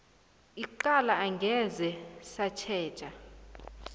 icala angeze satjhejwa